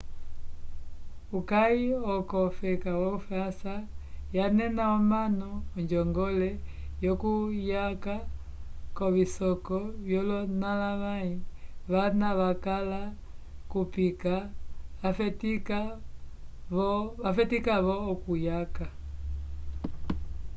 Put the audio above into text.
uyaki uko feka yo frança yanena comanu ojongole yo cuyaca covisoko yolonalavay vana vacala yupika vafetica vo o cuyaka